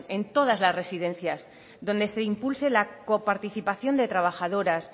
en todas las residencias donde se impulse la por participación de trabajadoras